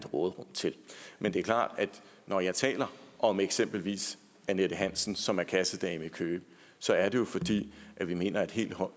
råderum til men det er klart at når jeg taler om eksempelvis annette hansen som er kassedame i køge så er det jo fordi vi mener at helt